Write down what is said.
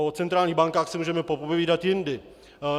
O centrálních bankách si můžeme popovídat jindy.